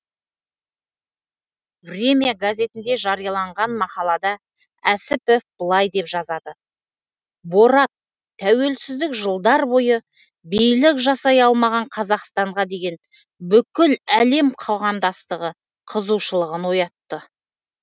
время газетінде жарияланған мақалада әсіпов былай деп жазады борат тәуелсіздік жылдар бойы билік жасай алмаған қазақстанға деген бүкіл әлем қоғамдастығы қызығушылығын оятты